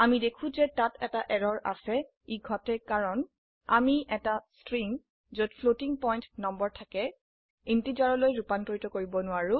আমি দেখো যে তাত এটা এৰৰ আছে ই ঘটে কাৰণ আমি এটা স্ট্ৰিং যত ফ্লোটিং পয়েন্ট নম্বৰ থাকে ইন্টিজাৰলৈ ৰুপান্তৰিত কৰিব নোৱাৰে